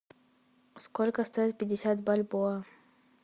сколько стоит пятьдесят бальбоа